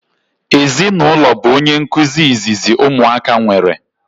Ezinụlọ bu onye nkụzi izizi ụmụaka nwere